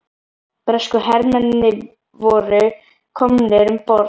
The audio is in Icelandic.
Bresku hermennirnir voru komnir um borð.